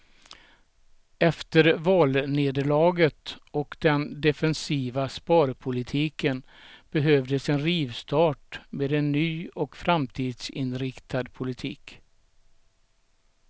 Efter valnederlaget och den defensiva sparpolitiken behövdes en rivstart med en ny och framtidsinriktad politik.